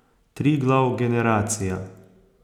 Triglav generacija.